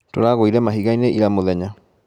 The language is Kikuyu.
Tũragũire mahiga-inĩ ira mũthenya